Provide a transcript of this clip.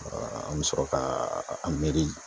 An be sɔrɔ ka an miiri